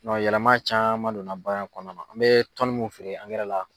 yɛlɛma caman donna baaara in kɔnɔna na an bɛ tɔnni mun feere la